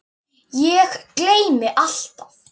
Ég gleymi alltaf.